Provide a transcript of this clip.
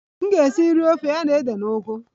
M ga-esi nri ofe ya na ede na ugu